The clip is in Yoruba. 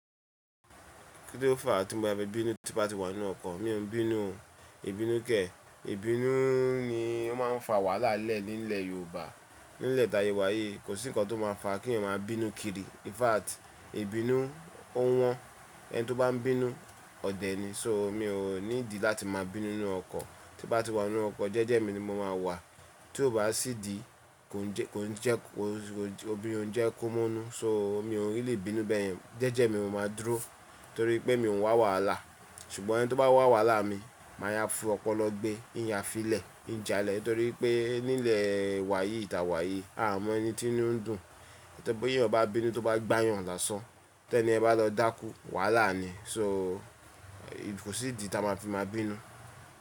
Kí ló fà á tí mo má fi bínú tí bá ti wà nínú ọkọ̀? Mi ò ń bínú o, ìbínú kẹ̀. Ìbínú ni ó máa ń fa wàhálà lẹ́ẹ̀ nílẹ̀ Yorùbá. Nílẹ̀ taṣe wà yìí kò sí nǹkan tó máa fà kí èèyàn máa bínú kiri. In fact, ìbínú ò wọ́n. Ẹni tí ó bá ń bínú ọ̀dẹ̀ ni. So mi ò need láti máa bínú nínú ọkọ̀. Tí bá ti wà nínú ọkọ̀ jẹ́jẹ́ mi ni mo máa wà. Tí ó bá sì di kò ń jẹ́, kò ń jẹ́, obìrin ó ń jẹ́ kó monú. So mi ò ní lè bínú bẹ́ẹ̀. Jẹ́jẹ́ mi mo máa dúró torí pé mi ò ń wá wàhálà. Ṣùgbọ́n ẹni tí ó bá wá wàhálà mi, màá yá fi ọpọlọ gbé, ìya filẹ̀, ìjalẹ̀ torí pé nílẹ̀ wa yìí, ìta wa yìí a ò mọ ẹni tí nú ń dùn. Ti bi èèyàn bá bínú tí ó bá gbáyàn lásán. Tẹ́ni yẹn bá lọ dákú, wàhálà ni. So kò sí ìdí ta máa fi máa bínú.